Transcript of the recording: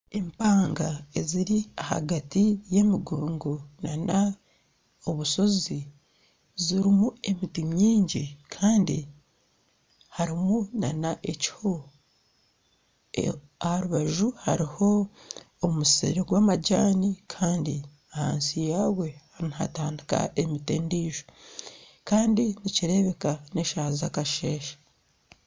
Empanga eziri ahagati y'emigongo nana obusozi zirimu emiti mingi karimu nana ekiho aha rubaju hariho omusiri gw'amajaani kandi ahansi yagwe nihatandika emiti endiijo, kandi nikireebeka n'eshaaha zakasheeshe